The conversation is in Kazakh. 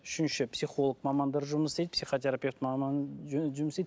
үшінші психолог мамандар жұмыс істейді психотерапевт маман жұмыс істейді